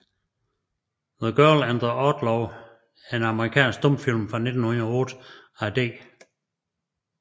The Girl and the Outlaw er en amerikansk stumfilm fra 1908 af D